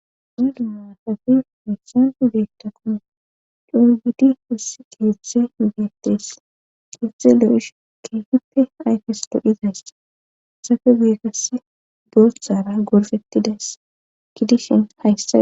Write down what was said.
Dundu maatafi missan beetta kone dhorgidi wussi kieieze beettees exe lo'ish keefippe ayfes doodhizays safe geegas dooththara gorfettidays ki dishin hayssa.